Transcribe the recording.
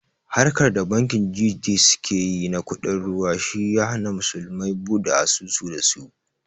Harkar da bankin G.T suke yi na kuɗin ruwa shi ya hana musulmai buɗe asusu da su